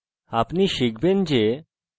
আপনি শিখবেন যে